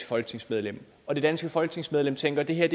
folketingsmedlem og det danske folketingsmedlem tænker at det her